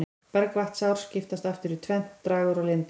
Bergvatnsár skiptast aftur í tvennt, dragár og lindár.